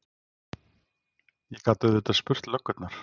Ég gat auðvitað spurt löggurnar.